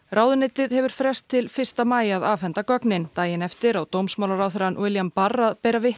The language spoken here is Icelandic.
ráðuneytið hefur frest til fyrsta maí að afhenda gögnin daginn eftir á dómsmálaráðherrann William barr að bera vitni